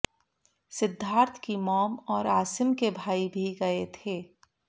सिद्धार्थ की मॉम और आसिम के भाई भी गये थे